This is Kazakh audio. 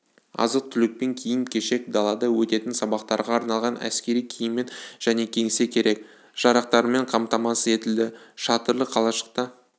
азық-түлікпен киім-кешек далада өтетін сабақтарға арналған әскери киіммен және кеңсе керек-жарақтарымен қамтамасыз етілді шатырлы қалашықта